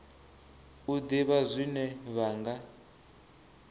u ḓivha zwine vha nga